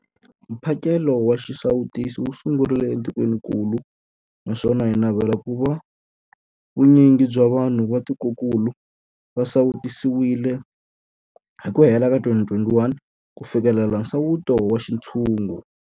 Mphakelo wa xisawutisi wu sungurile etikwenikulu naswona hi navela ku va vu nyingi bya vanhu va tikokulu va sawutisiwile hi ku hela ka 2021 ku fikelela nsawuto wa xintshungu.